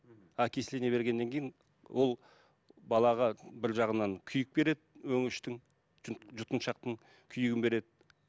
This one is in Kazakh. мхм окисление бергеннен кейін ол балаға бір жағынан күйік береді өңештің жұтқыншақтың күйігін береді